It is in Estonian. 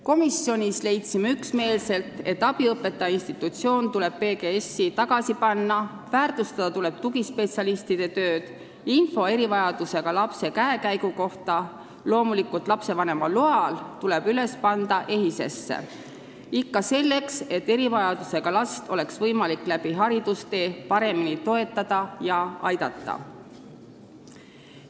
Komisjonis leidsime üksmeelselt, et abiõpetaja institutsioon tuleb PGS-i tagasi panna, väärtustada tuleb tugispetsialistide tööd ning info erivajadustega lapse käekäigu kohta – loomulikult lapsevanema loal – tuleb üles panna EHIS-esse, ikka selleks, et erivajadustega last oleks võimalik haridustee jooksul paremini toetada ja aidata.